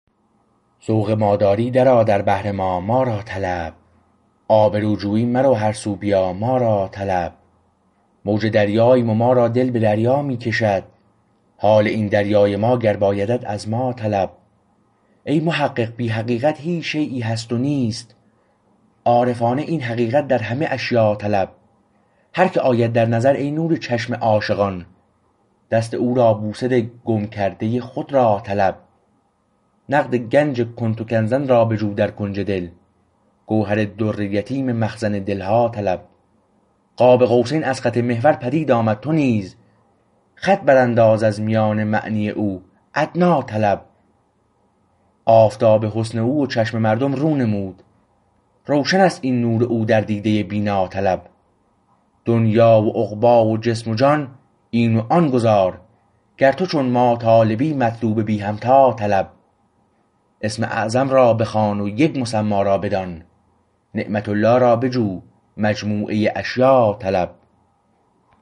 ذوق ما داری درآ در بحر ما ما را طلب آبرو جویی مرو هر سو بیا ما را طلب موج دریاییم و ما را دل به دریا می کشد حال این دریای ما گر بایدت از ما طلب ای محقق بی حقیقت هیچ شییی هست نیست عارفانه این حقیقت در همه اشیا طلب هر که آید در نظر ای نور چشم عاشقان دست او را بوسه ده گم کرده خود را طلب نقد گنج کنت کنزا را بجو در کنج دل گوهر در یتیم مخزن دلها طلب قاب قوسین از خط محور پدید آمد تو نیز خط برانداز از میان معنی او ادنی طلب آفتاب حسن او و چشم مردم رو نمود روشنست این نور او در دیده بینا طلب دنیی و عقبی و جسم و جان این و آن گذار گر تو چون ما طالبی مطلوب بی همتا طلب اسم اعظم را بخوان و یک مسمی را بدان نعمت الله را بجو مجموعه اشیا طلب